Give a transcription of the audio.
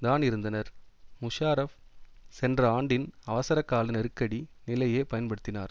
தான் இருந்தனர் முஷாரஃப் சென்ற ஆண்டின் அவசரகால நெருக்கடி நிலையே பயன்படுத்தினார்